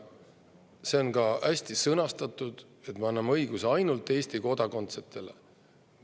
See on ka hästi sõnastatud, et me anname valimisõiguse ainult Eesti kodakondsetele.